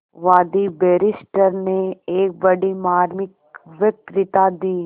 वादी बैरिस्टर ने एक बड़ी मार्मिक वक्तृता दी